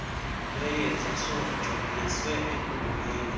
lweyeza sojoliswe ekuboneni